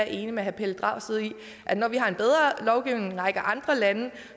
enig med herre pelle dragsted i at når vi har en bedre lovgivning end en række andre lande